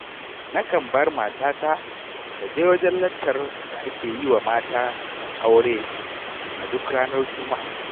Nakan bar matata ta je wajen laccar da ake yi wa matan aure a duk ranar Juma'a.